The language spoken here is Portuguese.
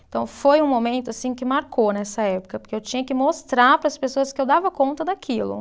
Então, foi um momento assim que marcou nessa época, porque eu tinha que mostrar para as pessoas que eu dava conta daquilo.